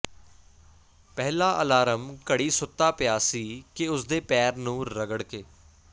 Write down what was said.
ਪਹਿਲਾ ਅਲਾਰਮ ਘੜੀ ਸੁੱਤਾ ਪਿਆ ਸੀ ਕਿ ਉਸਦੇ ਪੈਰ ਨੂੰ ਰਗੜ ਕੇ